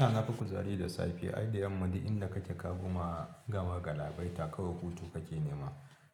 A nafi kuzari da safiya, ai da yamma duk idan kake ka koma, gama galabaita kawai hutu kake nema.